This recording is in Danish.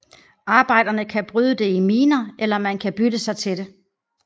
Arbejderne kan bryde det i miner eller man kan bytte sig til det